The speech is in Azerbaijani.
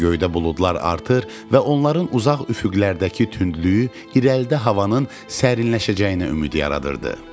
Göydə buludlar artır və onların uzaq üfüqlərdəki tündlüyü irəlidə havanın sərinləşəcəyinə ümid yaradırdı.